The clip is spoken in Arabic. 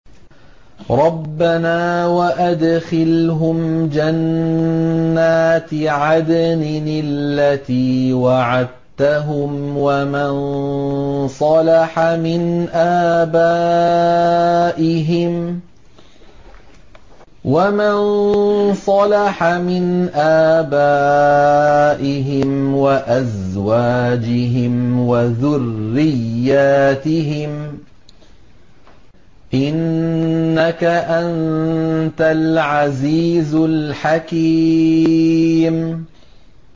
رَبَّنَا وَأَدْخِلْهُمْ جَنَّاتِ عَدْنٍ الَّتِي وَعَدتَّهُمْ وَمَن صَلَحَ مِنْ آبَائِهِمْ وَأَزْوَاجِهِمْ وَذُرِّيَّاتِهِمْ ۚ إِنَّكَ أَنتَ الْعَزِيزُ الْحَكِيمُ